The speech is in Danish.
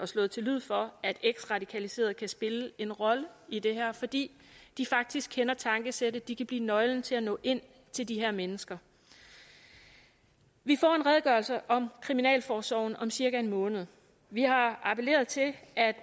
slået til lyd for at eksradikaliserede kan spille en rolle i det her fordi de faktisk kender tankesættet de kan blive nøglen til at nå ind til de her mennesker vi får en redegørelse om kriminalforsorgen om cirka en måned vi har appelleret til